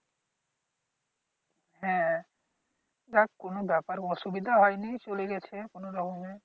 হ্যাঁ, যাক কোন ব্যাপার অসুবিধা হয়নি চলে গেছে কোন রকমে।